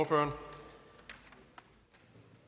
tror